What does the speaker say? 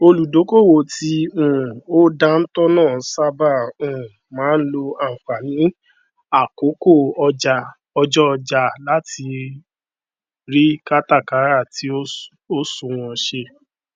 olùdókòwò tí um ó dántọ náà sáábà um máa n lò ànfàní àkókò ọjọ ọjà láti rí kátàkàrà tì ó sunwọn ṣe